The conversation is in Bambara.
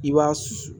I b'a